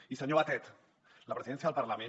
i senyor batet la presidència del parlament